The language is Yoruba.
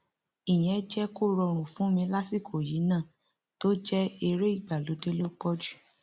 ìyẹn jẹ kó rọrùn fún mi lásìkò yìí náà tó jẹ eré ìgbàlódé ló pọ jù